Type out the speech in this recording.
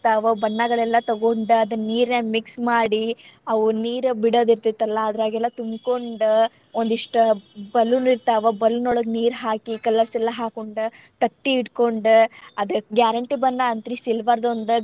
ಬಣ್ಣಗಳೆಲ್ಲಾ ತಗೊಂಡ್ ಅದನ್ ನೀರಿನ್ಯಾಗ mix ಮಾಡಿ ಅವ್ ನೀರ್ ಬಿಡದ ಇರ್ತೆತಲಾ ಅದ್ರಾಗೆಲ್ಲ ತುಂಬ್ಕೊಂಡ ಒಂದಿಷ್ಟ್ balloon ಇರ್ತಾವ balloon ಒಳಗ್ ನೀರ್ ಹಾಕಿ colours ಎಲ್ಲ ಹಾಕೊಂಡ್, ತತ್ತಿ ಇಟ್ಕೊಂಡ್ ಆದ್ guarantee ಬಣ್ಣ ಅಂತ್ರಿ silver ದ್ ಒಂದ್.